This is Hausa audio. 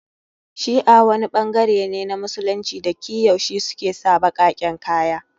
Shi'a ɓangare ne na Musulunci da ki yaushe suke sa baƙaƙen kaya